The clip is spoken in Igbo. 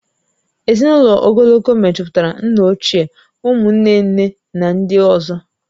Ezinụlọ ogologo mejupụtara nna ochie, ụmụ nne nne na ndị ọzọ